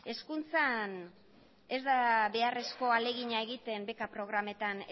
hezkuntzan ez da beharrezko ahalegina egiten beka programetan